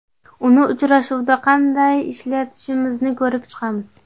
Uni uchrashuvda qanday ishlatishimizni ko‘rib chiqamiz.